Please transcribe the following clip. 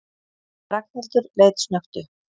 Ragnhildur leit snöggt upp.